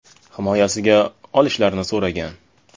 Himoyasiga olishlarini so‘ragan.